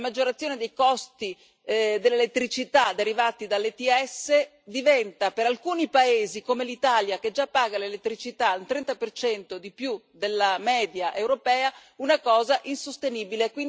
La maggiorazione dei costi dell'elettricità derivati dall'ETS diventa, per alcuni paesi come l'Italia, che già paga l'elettricità un 30 di più della media europea, una cosa insostenibile.